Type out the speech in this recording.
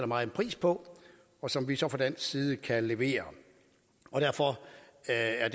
meget pris på og som vi så fra dansk side kan levere derfor er